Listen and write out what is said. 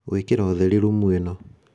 gwĩkĩra ũtheri rumu ĩno